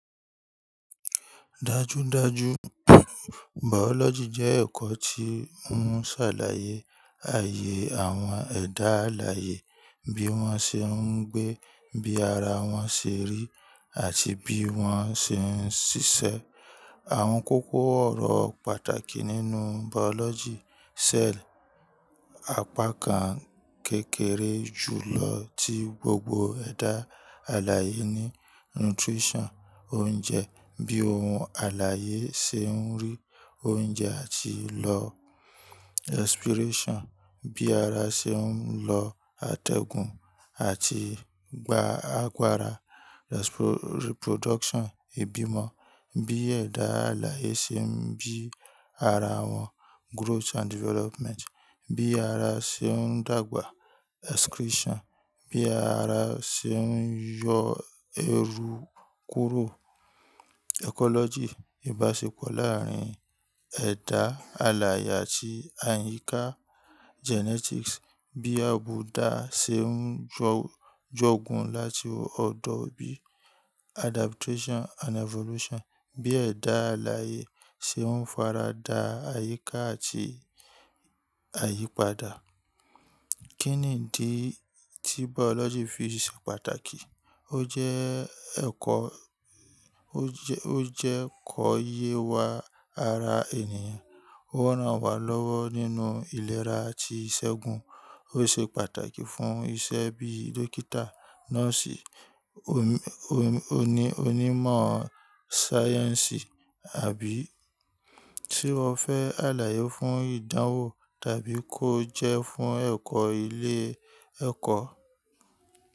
Dájúdájú Biology jẹ́ ẹ̀kọ́ tí ń ṣàlàyé àyè àwọn ẹ̀dá alààyè bí wọ́n ṣe ń gbé, bí ara wọn ṣe rí àti bí wọ́n ṣe ń ṣiṣẹ́. Àwọn kókó ọ̀rọ̀ pàtàkì nínú Biology; cell, apá kan kékeré jùlọ tí gbogbo ẹ̀dá alààyè ní, nutrition, oúnjẹ, bí ohun alààyè ṣe ń rí oúnjẹ àti lọ expiration, bí ara ṣe ń lọ atẹgun àti gba agbára, reproduction, ìbímọ, bí ẹ̀dá alààyè ṣe ń bí ara wọn, growth and development, bí ara ṣe ń dàgbà, excretion, bí ara ṣe ń yọ ẹrú kúrò, ecology, ìbáṣepọ̀ láàárín ẹ̀dá alààyè àti àyíká, genetics, bí àbùdá ṣe ń jọ -jọ̀gún láti ọ̀dọ̀ bíi, adaptation and evolution, bí ẹ̀dá alààyè ṣe ń farada àyíká àti àyípadà. Kí ni ìdí tí Biology fi ṣe pàtàkì? Ó jẹ́ ẹ̀kọ́, ó jẹ́ -ó jẹ́ kòye wa ara ènìyàn. Ó rán wa lọ́wọ́ nínú ìlera àti ìṣẹ́gun. Ó ṣe pàtàkì fún iṣẹ́ bíi dókítà, nọ́ọ̀sì, omi-omi oní-onímọ̀ sáyẹ́ǹsì, àbí tí o fẹ́ alààyè fún ìdánwò tàbí kó jẹ́ fún ẹ̀kọ́ ilé ẹ̀kọ́